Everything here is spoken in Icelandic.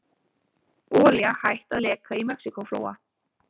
Olía hætt að leka í Mexíkóflóa